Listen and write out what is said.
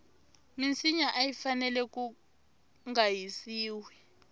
minsinya ayi fanele kunga hisiwi